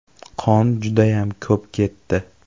Qon judayam ko‘p ketdi.